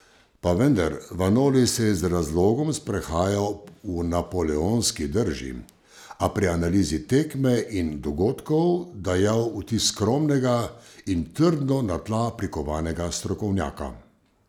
Pa vendar, Vanoli se je z razlogom sprehajal v napoleonski drži, a pri analizi tekme in dogodkov dajal vtis skromnega in trdno na tla prikovanega strokovnjaka.